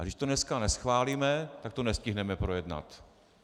A když to dneska neschválíme, tak to nestihneme projednat.